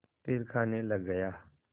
फिर खाने लग गया